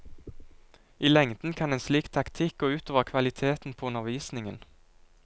I lengden kan en slik taktikk gå ut over kvaliteten på undervisningen.